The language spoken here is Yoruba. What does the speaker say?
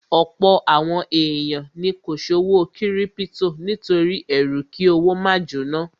Ọ̀pọ̀ àwọn èèyàn ni kò ṣòwò kírípítò nítorí ẹrú kí owó máa jóná